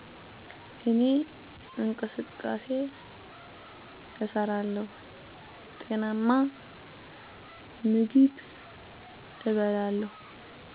እኔ እንቅስቃሴ እሠራለሁ፣ ጤናማ ምግብም እበላለሁ።